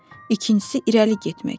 İkincisi irəli getmək.